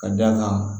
Ka d'a kan